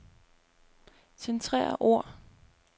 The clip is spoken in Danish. Centrer ord.